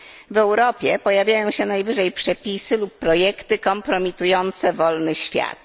W Europie pojawiają się najwyżej przepisy lub projekty kompromitujące wolny świat.